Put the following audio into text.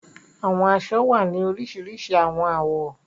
Awọn aṣọ wa ni orisirisi awọn awọ